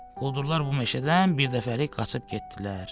Quldurlar bu meşədən bir dəfəlik qaçıb getdilər.